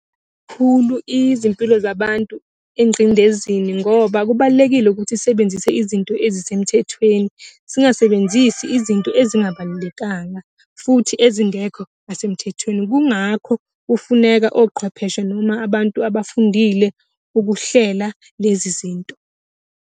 izimpilo zabantu engqindezini ngoba kubalulekile ukuthi sisebenzise izinto ezisemthethweni, singasebenzisi izinto ezingabalulekanga, futhi ezingekho nasemthethweni. Kungakho kufuneka oqhwepheshe noma abantu abafundile ukuhlela lezi zinto.